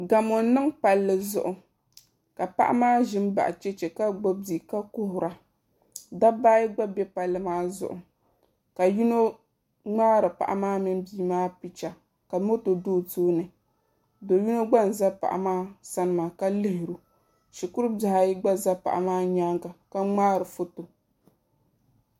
Gamo n niŋ palli zuɣu ka paɣa maa ʒi n baɣa chɛchɛ ka gbubi bia ka kuhura dabba ayi gba bɛ palli maa zuɣu ka yino ŋmaari paɣa maa mini bia maa picha ka moto do o tooni do yino gba n ʒɛ paɣa maa sani maa ka lihiro shikuru bihi ayi gba ʒɛ paɣa maa nyaanga ka ŋmaari foto